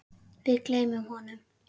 Við gleymum honum!